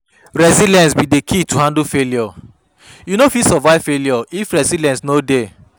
Resilience be di key to handle failure, you no fit survive failure if resilience no dey.